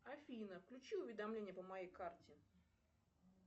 афина включи уведомление по моей карте